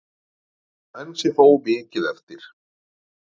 Enn sé þó mikið eftir.